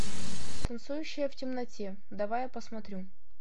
танцующая в темноте давай я посмотрю